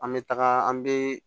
An bɛ taga an bɛ